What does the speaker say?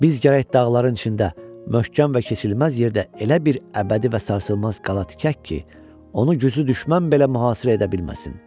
Biz gərək dağların içində möhkəm və keçilməz yerdə elə bir əbədi və sarsılmaz qala tikək ki, onu güclü düşmən belə mühasirə edə bilməsin.